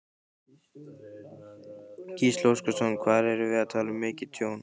Gísli Óskarsson: Hvað erum við að tala um mikið tjón?